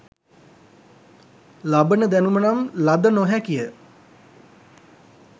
ලබන දැනුම නම් ලද නො හැකි ය